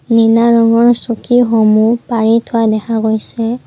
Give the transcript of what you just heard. নীলা ৰঙৰ চকীসমূহ পাৰি থোৱা দেখা গৈছে।